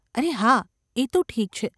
અરે હાં ! એ તો ઠીક છે.